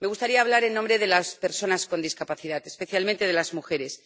Me gustaría hablar en nombre de las personas con discapacidad, especialmente de las mujeres.